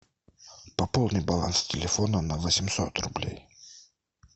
пополни баланс телефона на восемьсот рублей